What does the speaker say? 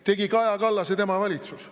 Tegi Kaja Kallas ja tema valitsus.